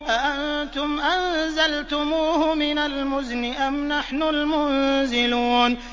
أَأَنتُمْ أَنزَلْتُمُوهُ مِنَ الْمُزْنِ أَمْ نَحْنُ الْمُنزِلُونَ